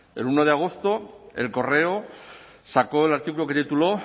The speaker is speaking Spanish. el uno de agosto el correo sacó el artículo que tituló